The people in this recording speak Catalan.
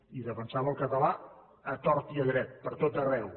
i defensava el català a tort i a dret per tot arreu